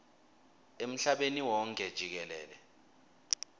emhlabeni wonkhe jikelele